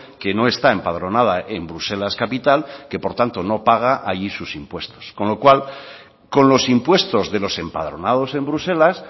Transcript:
que no está empadronada en bruselas capital que por tanto no paga allí sus impuestos con lo cual con los impuestos de los empadronados en bruselas